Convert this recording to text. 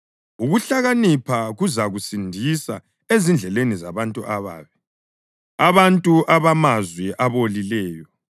Ukuhlakanipha kuzakusindisa ezindleleni zabantu ababi, abantu abamazwi abolileyo,